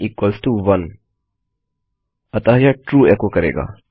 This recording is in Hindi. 1 इक्वल्स टो 1 अतः यह ट्रू एचो करेगा